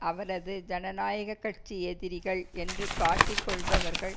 அவரது ஜனநாயக கட்சி எதிரிகள் என்று காட்டிக்கொள்பவர்கள்